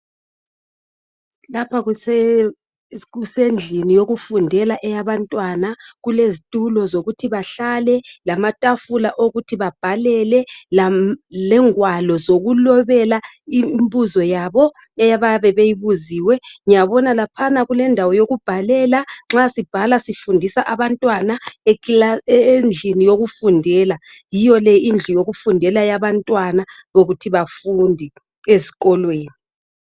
Lapha kusendlini yokufundela eyabantwana kulezitulo zokuthi bahlale lamatafula wokuthi babhalele lengwalo zokulobela imbuzoyabo eyabebeyibuziwe ngiyabonalaphana kulendawo yokubhalela nxa sibhala sifundisa abantwana endlini yokufundela yiyole indlu yokufundela yabantwana yokuthi bafunde ezikolweni